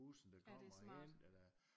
Ja det er smart